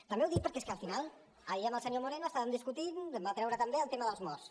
també ho dic perquè és que al final ahir amb el senyor moreno estàvem discutint va treure també el tema dels morts